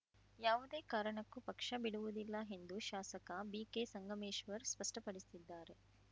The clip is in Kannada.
ಯಾವುದೇ ಕಾರಣಕ್ಕೂ ಪಕ್ಷ ಬಿಡುವುದಿಲ್ಲ ಎಂದು ಶಾಸಕ ಬಿಕೆ ಸಂಗಮೇಶ್ವರ್ ಸ್ಪಷ್ಟಪಡಿಸಿದ್ದಾರೆ